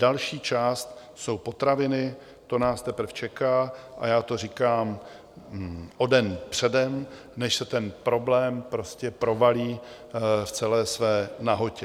Další část jsou potraviny, to nás teprve čeká a já to říkám o den předem, než se ten problém prostě provalí v celé své nahotě.